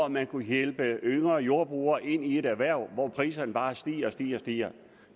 man kunne hjælpe yngre jordbrugere ind i et erhverv hvor priserne bare stiger stiger og stiger